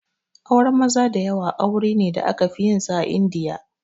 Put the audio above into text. Auren maza da yawa aure ne da aka fi yin sa a Indiya